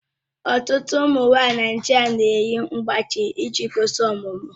Ọtụtụ ụmụ nwanyị Naijiria na-eyi mgbájí iji gosi ọmụmụ